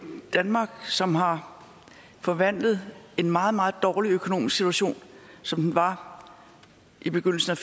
danmark som har forvandlet en meget meget dårlig økonomisk situation som den var i begyndelsen af